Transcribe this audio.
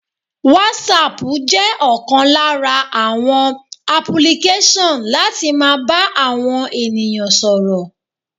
Wasapu jẹ́ ọ̀kan lára àwọn apulikesan láti máa bá àwọn ènìyàn sọ̀rọ̀.